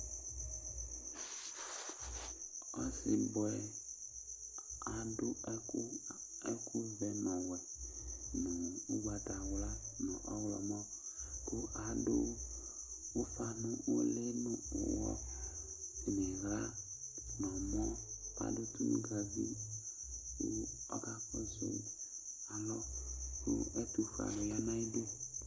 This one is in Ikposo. Ɔsibʋe aɖu ɛku, ɛku vɛ ŋu ɔwɛ ŋu ugbatawla ŋu ɔwlɔmɔ Aɖu ufa ŋu ʋli ŋu iɣla ŋu ɛmɔ Aɖu tonʋgavi kʋ ɔka kɔsu alɔ kʋ ɛtuƒuɛ ɣa ŋu aɣiɖu